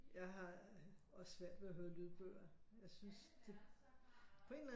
Jeg har også svært ved at høre lydbøger jeg synes det på en eller anden